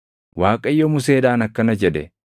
Waaqayyo Museedhaan akkana jedhe;